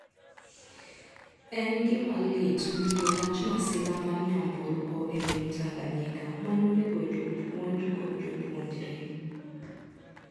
En gima lit winjo wach masira mar nyamburko e piny Tanganyika ma nonego jopuonj kod jopuonjre.